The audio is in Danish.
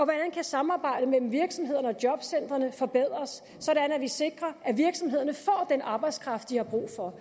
kan samarbejdet mellem virksomhederne og jobcentrene forbedres så vi sikrer at virksomhederne får den arbejdskraft de har brug for